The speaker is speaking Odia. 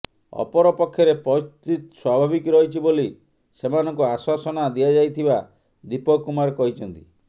ଅପରପକ୍ଷରେ ପରିସ୍ଥିତି ସ୍ୱାଭାବିକ ରହିଛି ବୋଲି ସେମାନଙ୍କୁ ଆଶ୍ୱାସନା ଦିଆଯାଇଥିବା ଦୀପକ କୁମାର କହିଛନ୍ତି